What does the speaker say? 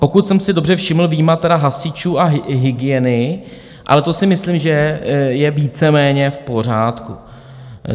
Pokud jsem si dobře všiml, vyjma tedy hasičů a hygieny, ale to si myslím, že je víceméně v pořádku.